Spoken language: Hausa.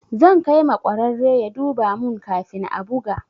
Zan kai ma ƙwararre ya duba mun kafin a buga.